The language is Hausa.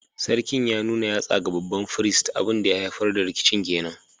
Sarkin ya nuna yatsa ga babban firist, abin da ya haifar da rikicin ke nan